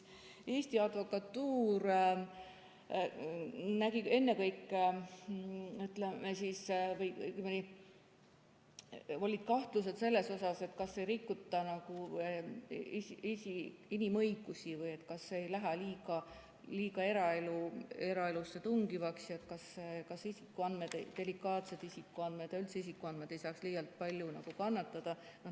Eesti Advokatuuril olid kahtlused selles osas, kas ei rikuta inimõigusi, kas ei tungita liiga eraellu ja kas delikaatsed isikuandmed ja üldse isikuandmed ei saaks liialt palju kannatada.